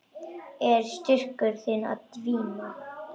Er styrkur þinn að dvína?